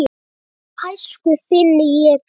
Aldrei gæsku þinni ég gleymi.